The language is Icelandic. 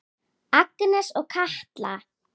Agnes og Katla.